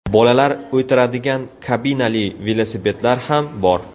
Bolalar o‘tiradigan kabinali velosipedlar ham bor.